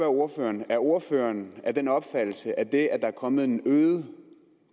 ordføreren er ordføreren af den opfattelse at det at der er kommet en øget